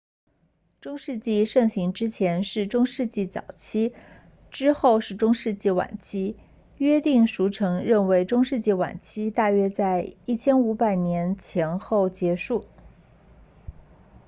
中世纪盛期之前是中世纪早期之后是中世纪晚期约定俗成认为中世纪晚期大约在1500年前后结束